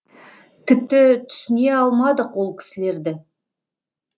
тіпті түсіне алмадық ол кісілерді